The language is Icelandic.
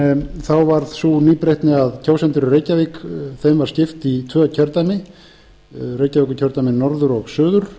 en þá varð sú nýbreytni að kjósendum í reykjavík var skipt í tvö kjördæmi reykjavíkurkjördæmi norður og suður